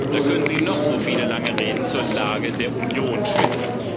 Da können Sie noch so viele lange Reden zur Lage der Union schwingen.